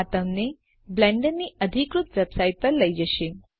આ તમને બ્લેન્ડરની અધિકૃત વેબસાઇટ પર લઇ જશે